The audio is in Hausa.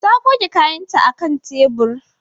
Ta goge kayanta a kan tebur.